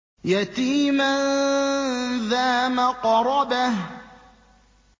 يَتِيمًا ذَا مَقْرَبَةٍ